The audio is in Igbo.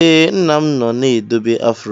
Ee, nna m nọ na-edebe afro.